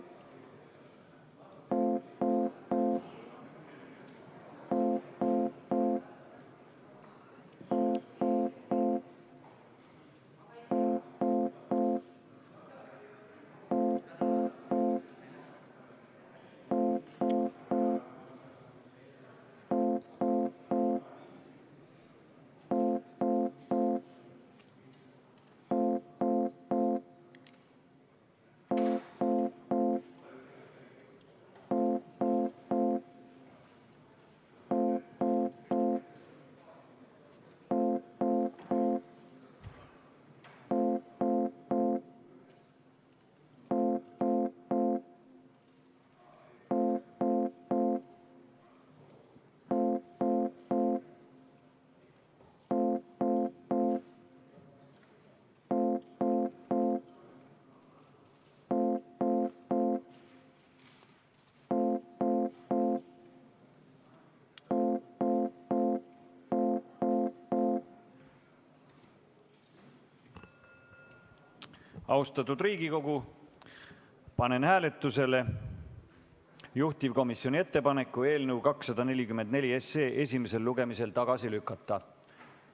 Austatud Riigikogu, panen hääletusele juhtivkomisjoni ettepaneku eelnõu 244 esimesel lugemisel tagasi lükata.